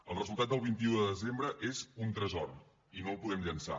el resultat del vint un de desembre és un tresor i no el podem llençar